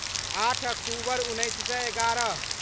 आठ अक्टूबर उन्नैस सए एगारह